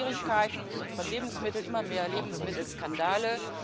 Es gab Schwierigkeiten mit unseren Lebensmitteln, immer mehr Lebensmittelskandale.